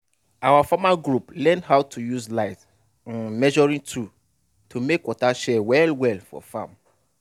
our farmer group learn how to use light um measuring tool to make water share well well for farm.